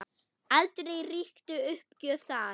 Aldrei ríkti uppgjöf þar.